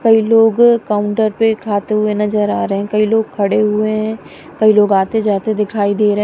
कई लोग काउंटर पे खाते हुए नजर आ रहे हैं कई लोग खड़े हुए हैं कई लोग आते जाते दिखाई दे रहे--